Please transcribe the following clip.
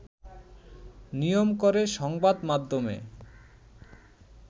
নিয়ম করে সংবাদমাধ্যমে